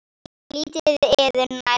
En lítið yður nær maður.